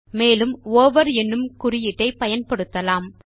மேலும் ஓவர் என்னும் குறியீட்டை பயன்படுத்தலாம்